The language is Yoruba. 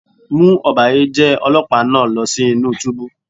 Mú ọ̀bàyéjẹ́ Ọlọ́pàá náà lọ sí inú túbú.